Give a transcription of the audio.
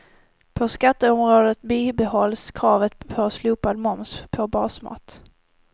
På skatteområdet bibehålls kravet på slopad moms på basmat.